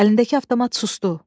Əlindəki avtomat sustu.